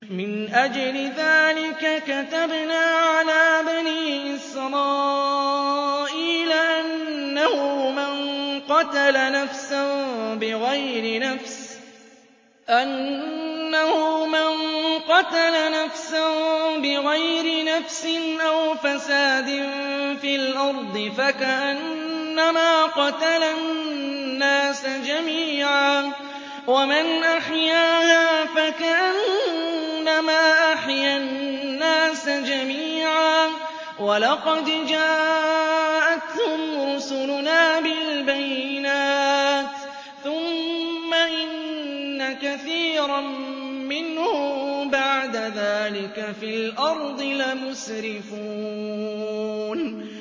مِنْ أَجْلِ ذَٰلِكَ كَتَبْنَا عَلَىٰ بَنِي إِسْرَائِيلَ أَنَّهُ مَن قَتَلَ نَفْسًا بِغَيْرِ نَفْسٍ أَوْ فَسَادٍ فِي الْأَرْضِ فَكَأَنَّمَا قَتَلَ النَّاسَ جَمِيعًا وَمَنْ أَحْيَاهَا فَكَأَنَّمَا أَحْيَا النَّاسَ جَمِيعًا ۚ وَلَقَدْ جَاءَتْهُمْ رُسُلُنَا بِالْبَيِّنَاتِ ثُمَّ إِنَّ كَثِيرًا مِّنْهُم بَعْدَ ذَٰلِكَ فِي الْأَرْضِ لَمُسْرِفُونَ